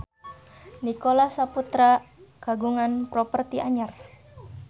Nicholas Saputra kagungan properti anyar